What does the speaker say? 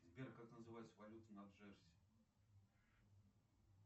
сбер как называется валюта на джерси